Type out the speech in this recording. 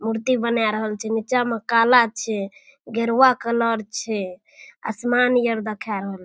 मूर्ति बना रहल छै नीचा मे काला छै गेरूवा कलर छै आसमान यार देखाय --